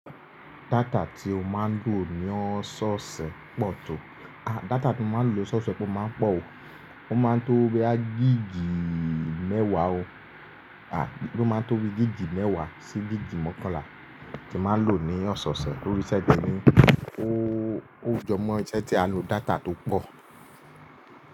Data tí ó máa ń lò ní ọ̀sẹ̀ pọ̀ tó, à data tí mo máa ń lò lọ́sọ̀ọ̀sẹ̀ pé ó máa ń pọ̀ o, ó máa ń tó bí i gíìgì mẹ́wàá o. À bí i ó máa ń tó bí i gíìgì mẹ́wàá sí gíìgì mọ́kànlá tí máa ń lò ní ọ̀sẹ̀ ṣẹ̀ tori iṣẹ́ te mi ó, ó jọ mọ́ iṣẹ́ tí a n lo data tó pọ̀